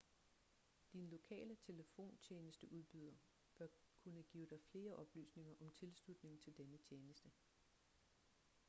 din lokale telefontjenesteudbyder bør kunne give dig flere oplysninger om tilslutning til denne tjeneste